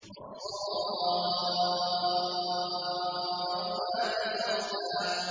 وَالصَّافَّاتِ صَفًّا